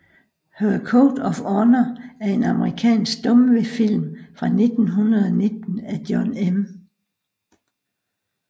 Her Code of Honor er en amerikansk stumfilm fra 1919 af John M